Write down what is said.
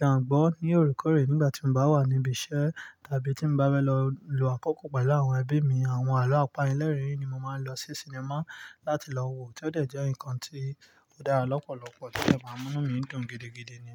máa gbọ̀ ní òore koore nígbà tí mo bá wà níbí iṣẹ́ tàbí tí mo bá bẹ lọ lò àkókò pẹ̀lú àwọn ẹbí mi. Àwọn àlọ́ àpalẹ̀lẹ́rìn ni mo máa ń lọ sí sinimá láti lọ wo tí ó dẹ̀ jẹ́ nǹkan tí ó dára lọ́pọ̀lọpọ̀ tí o de ma mú mí dùn gidigidi ni.